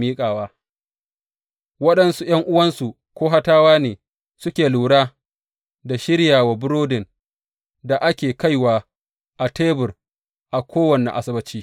Waɗansu ’yan’uwansu Kohatawa ne suke lura da shiryawa burodin da ake kaiwa a tebur a kowane Asabbaci.